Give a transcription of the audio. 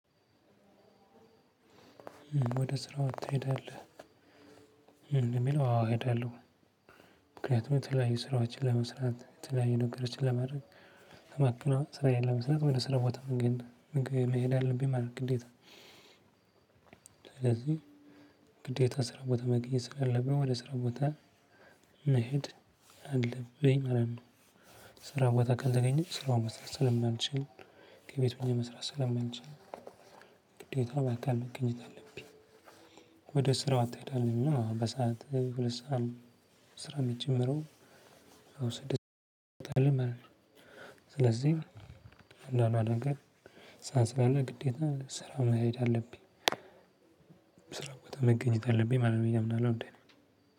ወደ ስራ ትሄዳለህ? የሚለው አዎ እሄዳለሁ። ምክንያቱም የተለያዩ ስራዎችን ለመስራት የተለያዩ ነገሮችን ለማረግ ለማከናወን ስራዬን ለመስራት ወደ ሰራ ቦታ መንገድ መሄድ አለብኝ ማለት ግዴታ። ስለዚህ ግዴታ ስራ ቦታ መገኘት ስላለብን ወደ ስራ ቦታ መሄድ አለብኝ ማለት ነው። ስራ ቦታ ካልተገኘን ስራውን መስራት ስለማንችል ከቤቱን መስራት ስለማንችል ግዴታ በአካል መገኘት አለብኝ። ወደ ስራው አትሄዳም እና በሰአት ሁለት ሰዓት ስራ የሚጨምረው? አዎ ስድስት ሰባት አመት። ስለዚህ አኗኗር ነገር ሳንስራና ግዴታ ስራውን መሄድ አለብኝ። ስራውን መገኘት አለብኝ ማለት ነው የምናደርገው እንዴ?